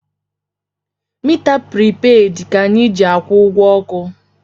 Mita pripeed ka anyị na-eji akwụ ụgwọ ọkụ.